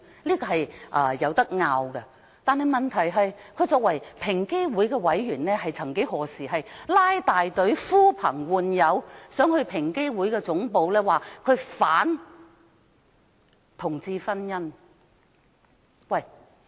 這是可以爭論的事，問題是，他作為平機會委員，卻曾經拉大隊、呼朋喚友到平機會總部反對同志婚姻。